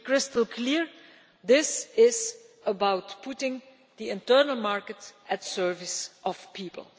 To be crystal clear, this is about putting the internal market at the service of people.